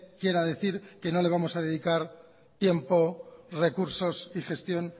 quiera decir que no le vamos a dedicar tiempo recursos y gestión